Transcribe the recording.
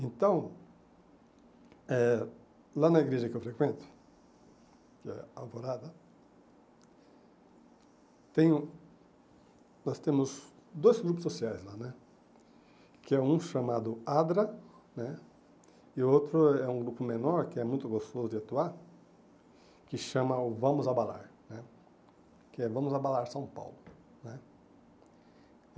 Então, eh lá na igreja que eu frequento, que é Alvorada, tenho nós temos dois grupos sociais lá né, que é um chamado Adra né, e o outro é um grupo menor, que é muito gostoso de atuar, que chama o Vamos Abalar né, que é Vamos Abalar São Paulo, né.